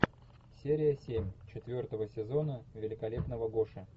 серия семь четвертого сезона великолепного гоши